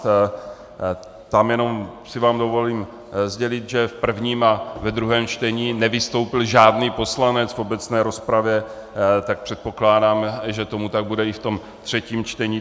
Tam jenom si vám dovolím sdělit, že v prvním a ve druhém čtení nevystoupil žádný poslanec v obecné rozpravě, tak předpokládám, že tomu tak bude i v tom třetím čtení.